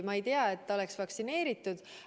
Ma ei tea, et ta oleks vaktsineeritud.